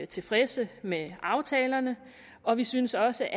tilfredse med aftalerne og vi synes også